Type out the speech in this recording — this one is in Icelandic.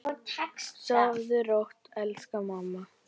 Sofðu rótt, elsku mamma.